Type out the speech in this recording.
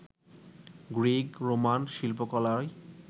Greek, Roman শিল্পকলায়